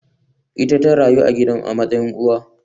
Ita ta raya gidan a matsayin uwa